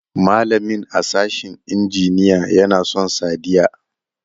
Malamin a sashin injiniya ya na son Sadiya.